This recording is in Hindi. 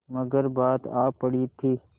मगर बात आ पड़ी थी